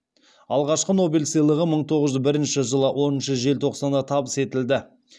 алғашқы нобель сыйлығы мың тоғыз жүз бірінші жылы оныншы желтоқсанда табыс етілді